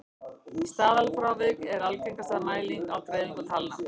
staðalfrávik er algengasta mæling á dreifingu talna